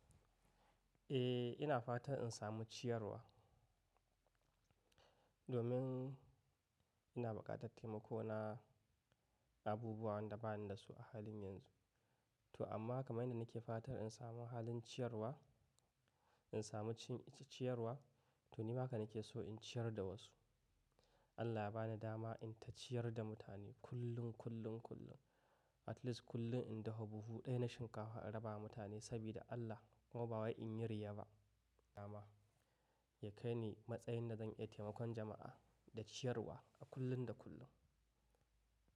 Eh, ina fatan in samu ciyarwa domin ina buƙatar taimako na abubuwan da bani da su a halin yanzu. To amma kamar yadda nake fatar in samu halin ciyarwa, in samu ciyarwa, to ni haka nake so in ciyar da wasu. Allah ya bani dama in ta ciyar da mutane kullum, kullum, kullum. At least kullum in dawo buhu ɗaya na shinkafa in raba wa mutane saboda Allah kuma ba wai in yi riya ba. Dama ya kai ni matsayin na zan yi taimakon jama'a da ciyarwa a kullum da kullum.